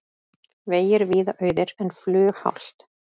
Vegir víða auðir en flughált